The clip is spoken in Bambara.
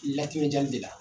Latimejanni de la